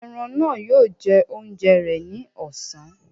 Eran náà yóò jẹ oúnjẹ rẹ ni ọ̀sán.